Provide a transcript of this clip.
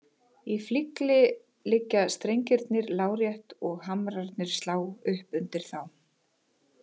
Í flygli liggja strengirnir lárétt og hamrarnir slá upp undir þá.